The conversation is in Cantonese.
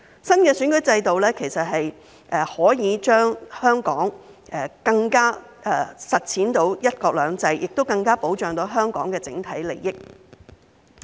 新的選舉制度可以讓香港更能實踐"一國兩制"，亦更能保障香港的整體利益。